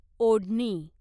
ओढणी